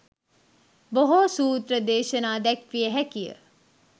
බොහෝ සූත්‍ර දේශනා දැක්විය හැකිය.